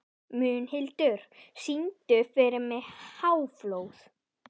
Mundhildur, syngdu fyrir mig „Háflóð“.